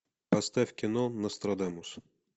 поставь кино нострадамус